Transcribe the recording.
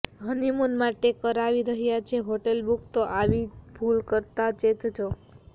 honeymoon માટે કરાવી રહ્યા છો હોટલ બુક તો આવી ભૂલ કરતા ચેતજો